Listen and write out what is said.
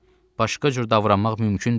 Başqa cür davranmaq mümkün deyil onunla.